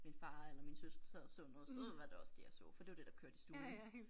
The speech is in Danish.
Min far eller mine søskende sad og så noget så var det også det jeg så for det var det der kørte i stuen